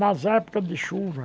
Nas épocas de chuva.